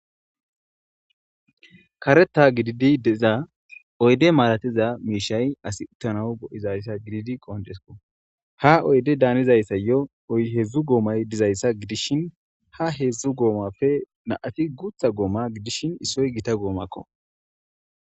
Kareta gididi deza oyde malatiza miishay as uttanawu go7izayssa gididi qoncesko ha oyde daanizayssa yo oyhedzdzu goomay dizayssa gidishin ha heedzdzu goomapfe naati gutha gooma gidishin issoy gita goomakko.